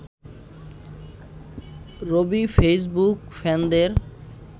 Rabi Facebook ফ্যানদের